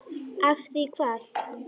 Af því hvað?